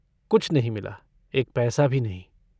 कुछ नहीं मिला, एक पैसा भी नहीं।